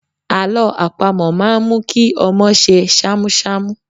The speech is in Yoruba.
Àlọ́ àpamọ̀ máa ń mú kí ọmọ ṣe ṣámúṣámú.